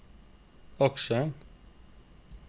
aksjer